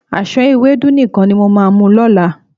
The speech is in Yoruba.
Àsán ewédú nìkan ni mo máa mu lọ́la.